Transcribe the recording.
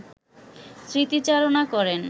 স্মৃতিচারণা করেন